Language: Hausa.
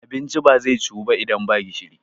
abinci ba zai ciwu ba idan ba gishiri